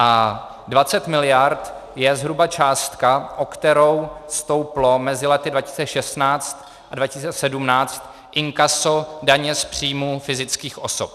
A 20 mld. je zhruba částka, o kterou stouplo mezi léty 2016 a 2017 inkaso daně z příjmu fyzických osob.